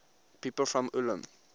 people from ulm